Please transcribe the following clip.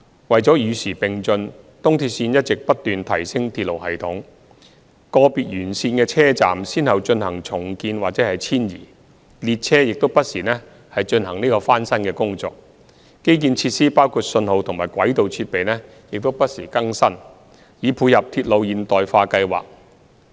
為與時並進，東鐵線一直不斷提升鐵路系統，個別沿線的車站先後進行重建或遷移，列車亦不時進行翻新工程，基建設施包括信號及軌道設備等也不時更新，以配合鐵路現代化計劃。